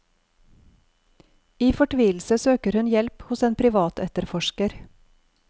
I fortvilelse søker hun hjelp hos en privatetterforsker.